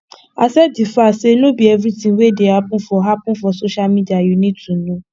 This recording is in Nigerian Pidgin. accept di fact sey no be everything wey dey happen for happen for social media you need to know